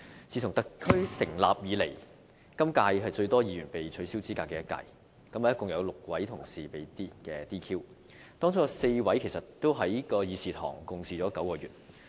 自特區成立以來，今屆是最多議員被取消資格的一屆，共有6位同事被 "DQ"， 當中有4名議員曾在這個會議廳共事9個月。